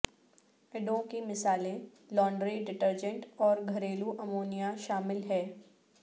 اڈوں کی مثالیں لانڈری ڈٹرجنٹ اور گھریلو امونیا شامل ہیں